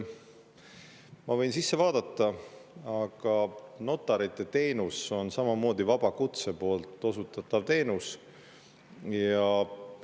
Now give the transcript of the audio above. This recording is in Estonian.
Ma võin sinna sisse vaadata, aga notariteenus on samamoodi vaba kutse osutatav teenus.